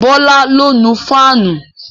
Bọlá ló nu fáànù